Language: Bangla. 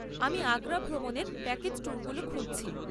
আমি আগ্রা ভ্রমণের প্যাকেজ ট্যুরগুলো খুঁজছি।